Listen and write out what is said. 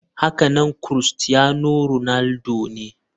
Hakanan crustiano ronaldo ne.